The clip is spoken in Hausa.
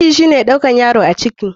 Ciki shine ɗaukan yaro a ciki.